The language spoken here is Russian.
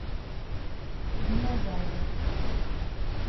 динозавр